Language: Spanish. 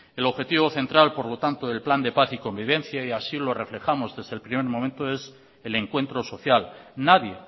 el objetivo central por lo tanto del plan de paz y convivencia y así lo reflejamos desde el primer momento es el encuentro social nadie